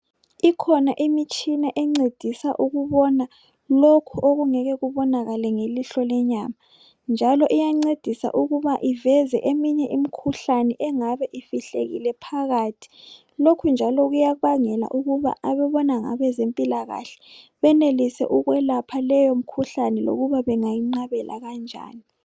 Ikhona imitshina encedisa ukubona lokhu okungeke kubonakale ngelihlo lenyama . Njalo iyancedisa ukuba iveze eminye imikhuhlane engabe ifihlekile phakathi .Lokhu njalo kuyabangela ukuba ababona ngabezempilakahle benelise ukwelapha leyo mkhuhlane lokuba bengayinqabela kanjani .